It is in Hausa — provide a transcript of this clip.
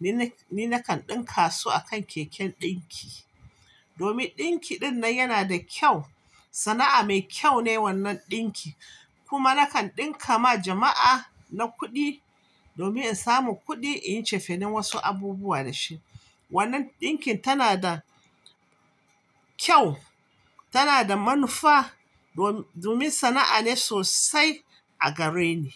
ni nakan ɗinka su akan keken ɗinki. Domin ɗinki ɗinnan yana da kyau, sana'a mai kyau ne wannan ɗinki. Kuma nakan ɗinka ma jama'a na kuɗi domin in samu kuɗi in yi cefane wasu abubuwa da shi. Wannan ɗinkin tana da kyau, tana da manufa domin sana'a ne sosai a gareni.